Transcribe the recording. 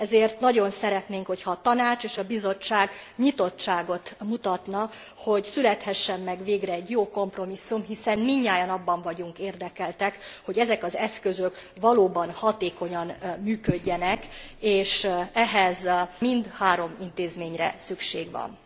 Ezért nagyon szeretnénk, hogyha a Tanács és a Bizottság nyitottságot mutatna, hogy születhessen meg végre egy jó kompromisszum, hiszen mindnyájan abban vagyunk érdekeltek, hogy ezek az eszközök valóban hatékonyan működjenek, és ehhez mindhárom intézményre szükség van.